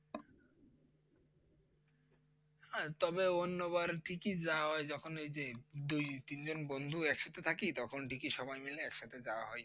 হ্যাঁ তবে অন্যবার ঠিকই যাওয়া হয় যখন এই যে দুই তিন জন বন্ধু একসাথে থাকি তখন ঠিকই সবাই মিলে একসাথে যাওয়া হয়,